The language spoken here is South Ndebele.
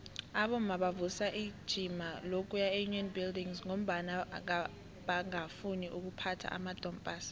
abomma bavusa ijima lokuya eunion buildings ngombana bangafuni ukuphatha amadompass